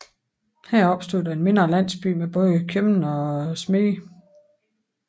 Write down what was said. Her opstod der en mindre landsby med både købmand og smedje